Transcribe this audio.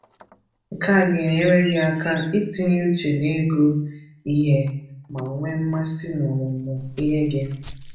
Nke a ga-enyere gị aka itinye uche n’ịgụ ihe ma nwee mmasị n'ọmụmụ ihe gị.